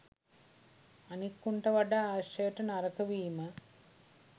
අනික් උන්ට වඩා ආශ්‍රයට නරක වීම